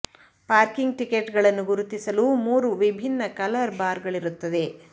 parking ticket ಗಳನ್ನು ಗುರುತಿಸಲು ಮೂರು ವಿಭಿನ್ನ ಕಲರ್ ಬಾರ್ ಗಳಿರುತ್ತದೆ